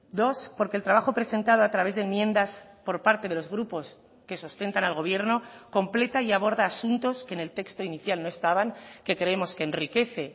dos porque el trabajo presentado a través de enmiendas por parte de los grupos que sustentan al gobierno completa y aborda asuntos que en el texto inicial no estaban que creemos que enriquece